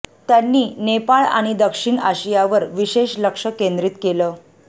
त्यांनी नेपाळ आणि दक्षिण आशियावर विशेष लक्ष केंद्रित केलं